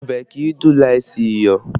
Ọbẹ̀ kìí dùn láìsí iyọ̀